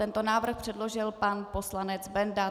Tento návrh předložil pan poslanec Benda.